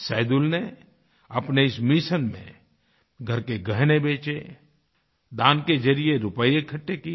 सैदुलने अपने इस मिशन में घर के गहने बेचे दान के ज़रिये रूपये इकट्ठे किये